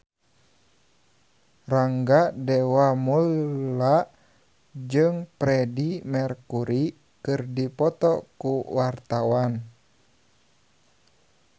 Rangga Dewamoela jeung Freedie Mercury keur dipoto ku wartawan